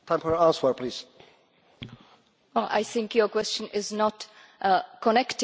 I think your question is not connected to what we are actually discussing here.